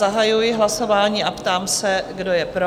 Zahajuji hlasování a ptám se, kdo je pro?